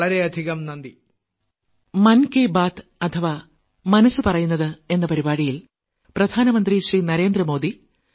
വളരെയധികം നന്ദി